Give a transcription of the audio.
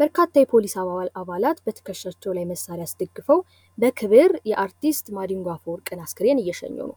በርካታ የፖሊስ አባላት በትከሻቸው ላይ መሳሪያ አስደግፎ በክብር የአርቲስት ማዲንጎ አፈወርቅ አስከሬን እየሸኙ ነው።